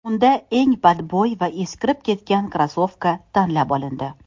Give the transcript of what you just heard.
Unda eng badbo‘y va eskirib ketgan krossovka tanlab olindi.